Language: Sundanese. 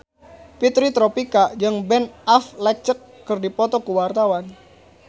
Fitri Tropika jeung Ben Affleck keur dipoto ku wartawan